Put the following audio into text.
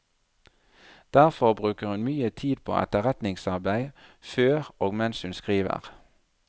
Derfor bruker hun mye tid på etterretningsarbeid før og mens hun skriver.